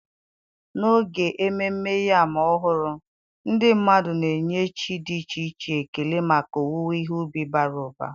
n'oge Ememme Yam Ọhụrụ, ndị mmadụ na-enye chi dị iche iche ekele maka owuwe ihe ubi bara ụba.